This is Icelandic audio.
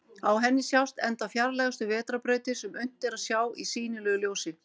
Á henni sjást enda fjarlægustu vetrarbrautir sem unnt er að sjá í sýnilegu ljósi.